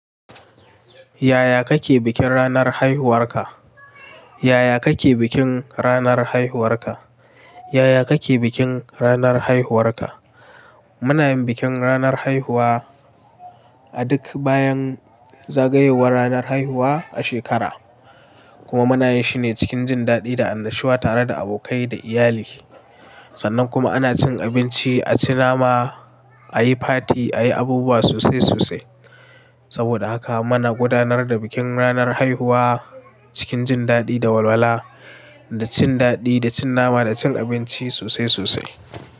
Yaya kake bikin ranar haihuwarka? Yaya kake bikin ranar haihuwarka? Yaya kake bikin ranar haihuwarka? Muna yin bikin ranar haihuwa a duk bayan zagayowar ranar haihuwa a shekara. Kuma muna yin shine cikin jin daɗi da annashuwa tare da abokai da iyali. Sannan kuma ana cin abinci, a ci nama, a yi fati, a yi abubuwa sosai sosai. Saboda haka muna gudanar da bikin ranar haihuwa cikin jin daɗi da walwala, da cin daɗi, da cin nama, da cin abinci sosai sosai.